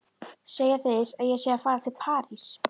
Segja þeir að ég sé að fara til París?